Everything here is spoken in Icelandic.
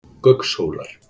Gaukshólum